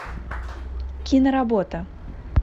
киноработа